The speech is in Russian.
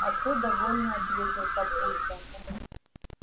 а то довольно ответил папулька